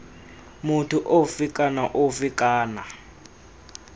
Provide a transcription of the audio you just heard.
motho ofe kana ofe kana